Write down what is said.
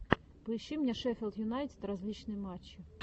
поищи мне шеффилд юнайтед различные матчи